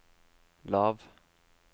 lav